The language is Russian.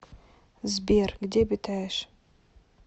сбер где обитаешь